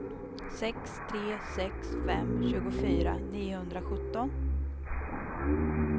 sex tre sex fem tjugofyra niohundrasjutton